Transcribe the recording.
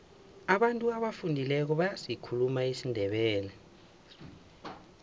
abantu abafundileko bayasikhuluma isindebele